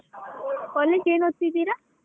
College ಏನ್ ಓದ್ತಿದ್ದೀರಾ?